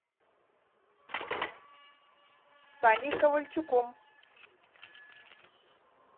саней ковальчуком